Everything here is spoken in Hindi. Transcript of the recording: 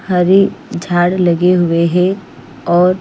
हरी खाद लगे हुए है और --